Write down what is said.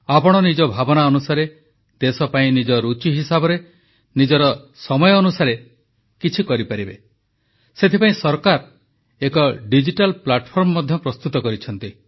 ଆପଣ ନିଜ ଭାବନା ଅନୁସାରେ ଦେଶପାଇଁ ନିଜ ରୁଚି ହିସାବରେ ନିଜର ସମୟ ଅନୁସାରେ କିଛି କରିପାରିବେ ସେଥିପାଇଁ ସରକାର ଏକ ଡିଜିଟାଲ୍ ପ୍ଲାଟଫର୍ମ ମଧ୍ୟ ପ୍ରସ୍ତୁତ କରିଛନ୍ତି